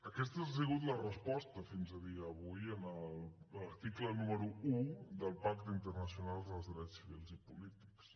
aquesta ha sigut la resposta fins a dia d’avui a l’article número un del pacte internacional dels drets civils i polítics